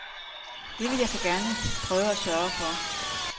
Det vil jeg så prøve at sørge for.